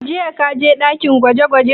Jiya ka je ɗakin gwaje gwajen?